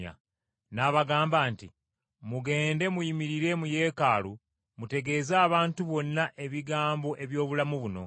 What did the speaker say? n’abagamba nti, “Mugende muyimirire mu Yeekaalu mutegeeze abantu bonna ebigambo eby’obulamu buno.”